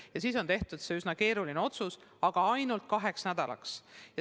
Ja siis on tehtud see üsna keeruline otsus, aga ainult kaheks nädalaks.